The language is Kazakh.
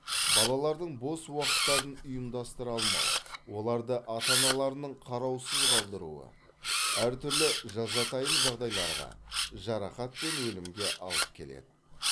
балалардың бос уақыттарын ұйымдастыра алмау оларды ата аналарының қараусыз қалдыруы әртүрлі жазатайым жағдайларға жарақат пен өлімге алып келеді